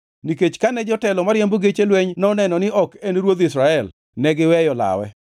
nikech kane jotelo mariembo geche lweny noneno ni ok en ruodh Israel, negiweyo lawe.